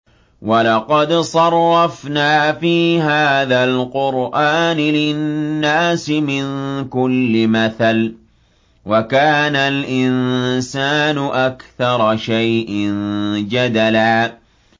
وَلَقَدْ صَرَّفْنَا فِي هَٰذَا الْقُرْآنِ لِلنَّاسِ مِن كُلِّ مَثَلٍ ۚ وَكَانَ الْإِنسَانُ أَكْثَرَ شَيْءٍ جَدَلًا